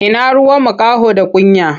Ina ruwan makaho da kunya?